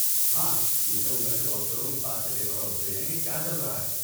ہاں، کیونکہ ان میں سے بہت سے لوگ اس بات سے بے خبر ہوتے ہیں کہ کیا چل رہا ہے۔